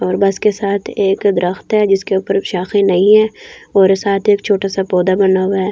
और बस के साथ एक दरख्त है जिसके ऊपर नहीं है और साथ एक छोटा सा पौधा बना हुआ हैं।